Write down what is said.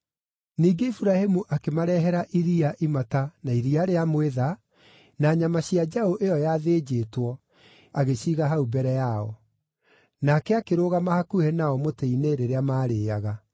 Ningĩ Iburahĩmu akĩmarehera iria imata na iria rĩa mwĩtha, na nyama cia njaũ ĩyo yathĩnjĩtwo, agĩciiga hau mbere yao. Nake akĩrũgama hakuhĩ nao mũtĩ-inĩ rĩrĩa maarĩĩaga.